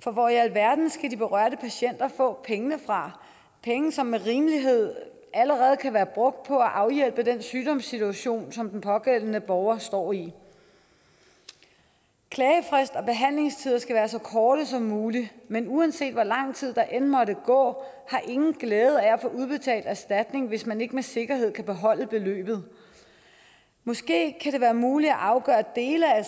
for hvor i alverden skal den berørte patient få pengene fra penge som med rimelighed allerede kan være brugt på at afhjælpe den sygdomssituation som den pågældende borger står i klagefrist og behandlingstider skal være så korte som muligt men uanset hvor lang tid der end måtte gå har ingen glæde af at få udbetalt erstatning hvis man ikke med sikkerhed kan beholde beløbet måske kan det være muligt at afgøre dele af